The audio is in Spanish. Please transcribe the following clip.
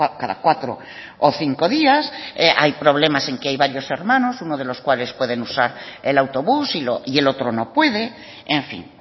cada cuatro o cinco días hay problemas en que hay varios hermanos uno de los cuales pueden usar el autobús y el otro no puede en fin